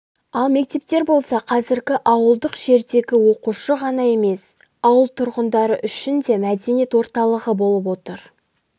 ал мектептер болса қазіргі ауылдық жердегі оқушы ғана емес ауыл тұрғындары үшін де мәдениет орталығы болып отыр